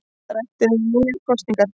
Rætt um nýjar kosningar